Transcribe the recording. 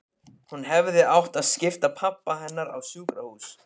Hún hefði átt að skipa pabba hennar á sjúkrahús.